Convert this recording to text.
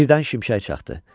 Birdən şimşək çaxdı.